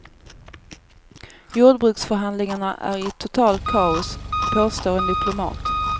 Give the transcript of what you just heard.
Jordbruksförhandlingarna är i totalt kaos, påstår en diplomat.